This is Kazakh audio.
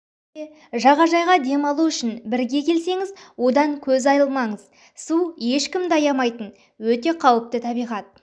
де жағажайға демалу үшін бірге келсеңіз одан көз алмаңыздар су ешкімді аямайтын өте қауіпті табиғат